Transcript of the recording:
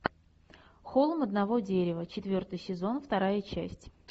холм одного дерева четвертый сезон вторая часть